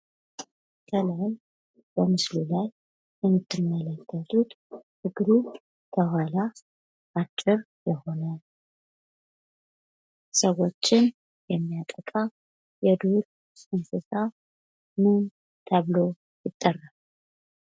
ከላይ በምስሉ ላይ የምትመለከቱት እግሩ ከኋላ አጭር የሆነ፣ ሰዎችን የሚያጠቃ የዱር እንስሳ ምን ተብሎ ይጠራል?